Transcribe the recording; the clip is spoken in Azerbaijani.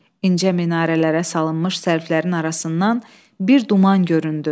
İncə minarələrə salınmış sərflərin arasından bir duman göründü.